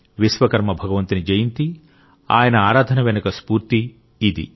విశ్వకర్మ భగవంతుని జయంతి ఆయన ఆరాధన వెనుక ఉన్న స్ఫూర్తి ఇది